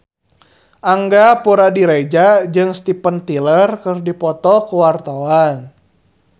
Angga Puradiredja jeung Steven Tyler keur dipoto ku wartawan